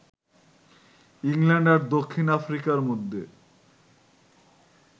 England আর দক্ষিণ আফ্রিকার মধ্যে